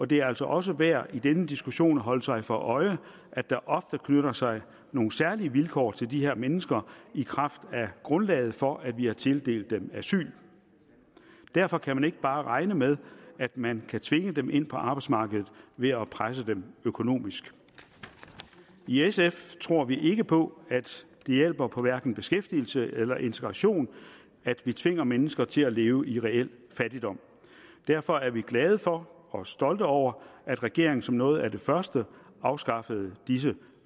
det er også også værd i den diskussion at holde sig for øje at der ofte knytter sig nogle særlige vilkår til de her mennesker i kraft af grundlaget for at vi har tildelt dem asyl derfor kan man ikke bare regne med at man kan tvinge dem ind på arbejdsmarkedet ved at presse dem økonomisk i sf tror vi ikke på at det hjælper på hverken beskæftigelse eller integration at vi tvinger mennesker til at leve i reel fattigdom derfor er vi glade for og stolte over at regeringen som noget af det første afskaffede disse